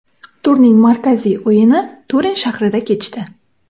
Turning markaziy o‘yini Turin shahrida kechdi.